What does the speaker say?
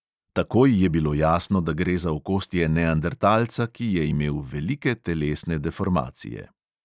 Takoj je bilo jasno, da gre za okostje neandertalca, ki je imel velike telesne deformacije.